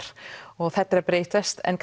og þetta er að breytast en